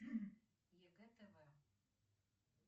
егэ тв